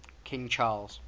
king charles